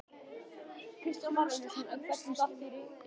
Kristján Már Unnarsson: En hvernig datt þér þetta í hug?